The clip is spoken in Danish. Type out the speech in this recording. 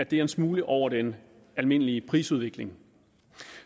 det er en smule over den almindelige prisudvikling